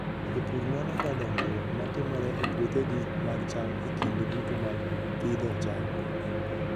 Jopur nonoga dongruok ma timore e puothegi mag cham e kinde duto mag pidho cham.